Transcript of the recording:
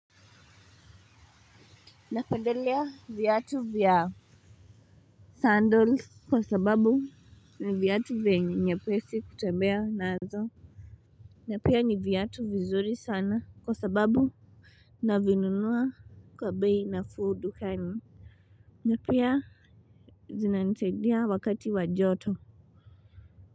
Napandelea vyatu vya Sandals kwa sababu ni vyatu venye nyepesi kutembea nazo. Na pia ni vyatu vizuri sana kwa sababu navinunua kwa bei nafuu dukani. Napia zinanisaidia wakati wa joto.